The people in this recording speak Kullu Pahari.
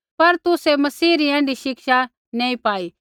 पर तुसै मसीह री ऐण्ढी शिक्षा नैंई पाई